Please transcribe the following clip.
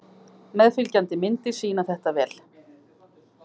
Meðfylgjandi myndir sýna þetta vel.